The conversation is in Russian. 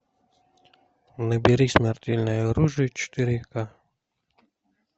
набери смертельное оружие четыре ка